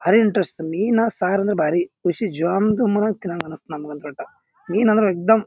ಭಾರಿ ಇಂಟ್ರೆಸ್ಟ್ ಮೀನ್ ಸಾರು ಅಂದ್ರ ಭಾರಿ ಖುಷಿ ತಿನ್ನಹಂಗ್ ಅನಸ್ತ ನಮಗಂತೂ ವಟ್ಟ. ಮೀನ್ ಅಂದ್ರ ಏಕ್ ದಮ್--